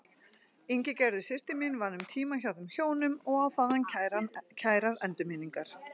Ingigerður systir mín vann um tíma hjá þeim hjónum og á þaðan kærar endurminningar.